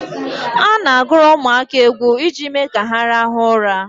A na-agụrụ ụmụaka egwu iji mee ka ha rahụ ụra